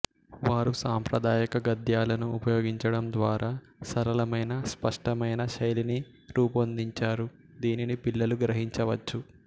వారు సాంప్రదాయిక గద్యాలను ఉపయోగించడం ద్వారా వారు సరళమైన స్పష్టమైన శైలిని రూపొందించారు దీనిని పిల్లలు గ్రహించవచ్చు